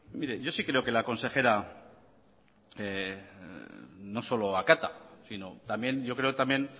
yo sí creo que la consejera no solo acata sino también yo creo que también